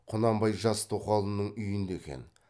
құнанбай жас тоқалының үйінде екен